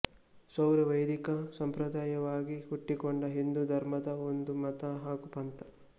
ಸೌರ ವೈದಿಕ ಸಂಪ್ರದಾಯವಾಗಿ ಹುಟ್ಟಿಕೊಂಡ ಹಿಂದೂ ಧರ್ಮದ ಒಂದು ಮತ ಹಾಗು ಪಂಥ